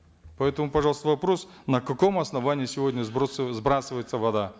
поэтому пожалуйста вопрос на каком основании сегодня сбрасывается вода